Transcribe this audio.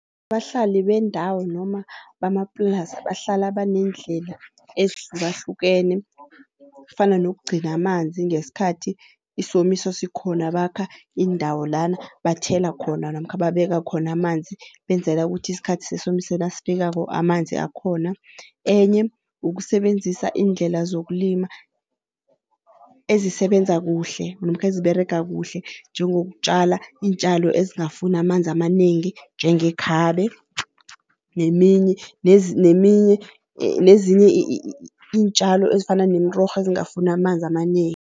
Abahlali bendawo noma bamaplasa bahlala baneendlela ezihlukahlukene fana nokugcina amanzi ngesikhathi isomiso sikhona bakha iindawo lana bathela khona namkha babeka khona amanzi. Benzela ukuthi isikhathi sesomiso nasifikako amanzi akhona. Enye ukusebenzisa iindlela zokulima ezisebenza kuhle namkha eziberege kuhle njengokutjala iintjalo ezingafuni amanzi amanengi njengekhabe neminye neminye nezinye iintjalo ezifana nemirorho ezingafuni amanzi amanengi.